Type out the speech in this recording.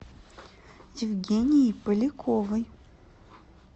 евгенией поляковой